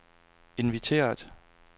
inviteret